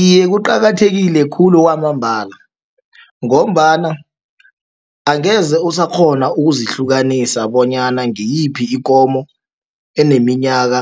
Iye, kuqakathekile khulu kwamambala, ngombana angeze usakghona ukuzihlukanisa bonyana ngiyiphi ikomo eneminyaka